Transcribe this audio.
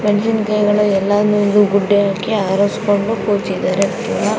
ಮೆಣಸಿನಕಾಯಿ ಎಲ್ಲವನ್ನು ಗುಡ್ಡೆ ಹಾಕಿ ಆರಿಸಿಕೊಂಡು ಕೂತಿದ್ದಾರೆ ಕೂಡಾ --